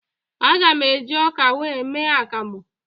Aga m eji ọka wee mee akamụ